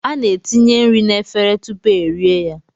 A na-etinye nri na-efere tupuu e rie ya.